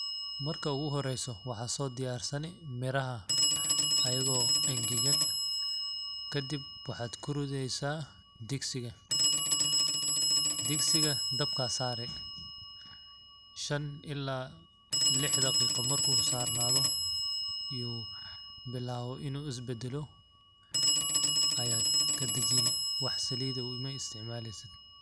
Marka ugu horeyso maxaa soo diyaarsani miraha aygoo engegan kadib waxaad kurideysaa digsiga ,digsiga dabkaa saari shan ilaa lix daqiiqa markuu saarnaado yuu bilaawo inuu isbadalo ayaad ka dajini wax saliid eh uma isticmaaleysid.